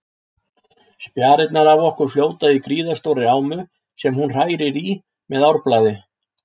Spjarirnar af okkur fljóta í gríðarstórri ámu sem hún hrærir í með árarblaði.